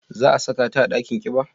Za a saka ta a dakin kiba?